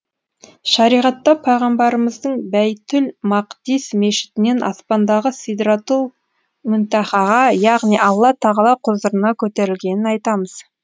шариғатта пайғамбарымыздың бәйтул мақдис мешітінен аспандағы сидратул мүнтәһәға яғни алла тағала құзырына көтерілгенін айтамыз